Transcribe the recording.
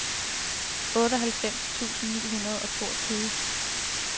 otteoghalvfems tusind ni hundrede og toogtyve